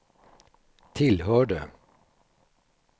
tillhörde